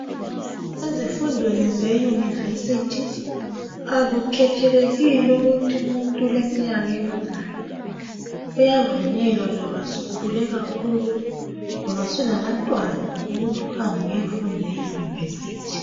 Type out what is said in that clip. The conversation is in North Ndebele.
Ezifundweni ze university akukhethelekile ukuthi umuntu uleminyaka emingaka kuyavunyelwa loba usukhule kakhulu loba usulabantwana ukuthi uhambe uyefunda e university